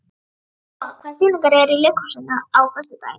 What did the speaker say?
Úa, hvaða sýningar eru í leikhúsinu á föstudaginn?